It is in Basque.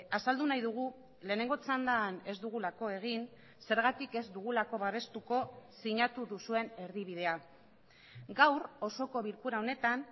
azaldu nahi dugu lehenengo txandan ez dugulako egin zergatik ez dugulako babestuko sinatu duzuen erdibidea gaur osoko bilkura honetan